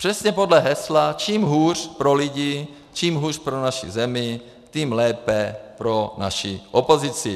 Přesně podle hesla čím hůř pro lidi, čím hůř pro naši zemi, tím lépe pro naši opozici.